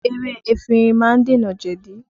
Ewé efinrin má ń dènà jẹ̀di